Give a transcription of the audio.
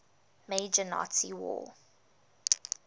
major nazi war